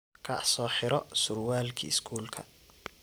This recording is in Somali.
Kaac soxiro surwalki skulka.